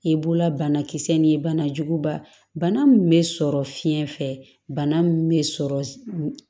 I bolola banakisɛ ni bana juguba bana min bɛ sɔrɔ fiɲɛ fɛ bana min bɛ sɔrɔ